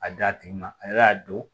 A d'a tigi ma a y'a don